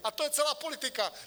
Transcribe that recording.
A to je celá politika!